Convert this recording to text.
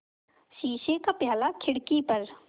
शीशे का प्याला था खिड़की पर